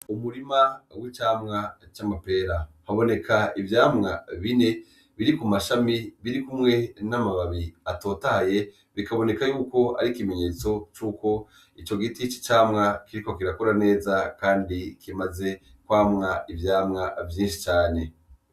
Umurima w'icamwa c'amapera haboneka ivyamwa bine biri kumashami birikumwe n'amababi atotahaye bikaboneka y'uko arikimenyetso ko ico giti c'icamwa kiriko kirakura neza kandi kimaze kwama ivyamwa vyinshi cane.